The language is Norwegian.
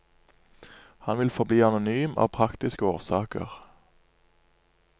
Han vil forbli anonym av praktiske årsaker.